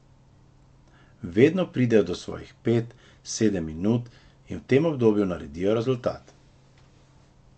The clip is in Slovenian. Vedno pridejo do svojih pet, sedem minut in v tem obdobju naredijo rezultat.